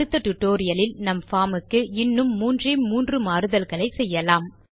அடுத்த டியூட்டோரியல் லில் நம் பார்ம் க்கு இன்னும் மூன்றே மூன்று மாறுதல்களை செய்யலாம்